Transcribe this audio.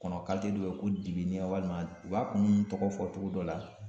Kɔnɔ kalite dɔ bɛ ye ko dibi walima u b'a kuun tɔgɔ fɔ togo dɔ la.